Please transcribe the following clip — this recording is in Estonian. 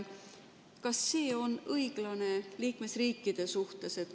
Kas see on õiglane liikmesriikide suhtes?